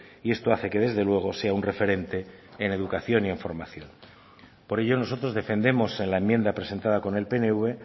y esto hace que desde luego sea un referente en educación y en formación por ello nosotros defendemos en la enmienda presentada con el pnv en